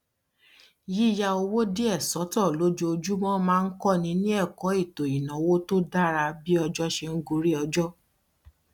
yíyá owó díẹ sọtọ lójoojúmọ máa ń kọni ní ẹkọ ètò ìnáwó tó dára bí ọjọ ṣe ń gorí ọjọ